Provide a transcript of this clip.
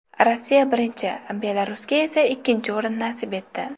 Rossiya birinchi, Belarusga esa ikkinchi o‘rin nasib etdi.